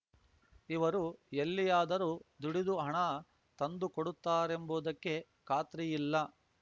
ಇವರು ಎಲ್ಲಿಯಾದರೂ ದುಡಿದು ಹಣ ತಂದು ಕೊಡುತ್ತಾರೆಂಬುದಕ್ಕೆ ಖಾತ್ರಿಯಿಲ್ಲ